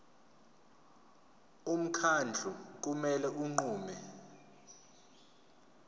umkhandlu kumele unqume